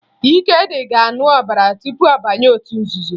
Ikedị ga-aṅụ ọbara tupu ọ banye otu nzuzo